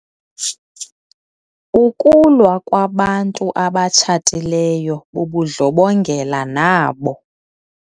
Ukulwa kwabantu abatshatileyo bubundlobongela nabo.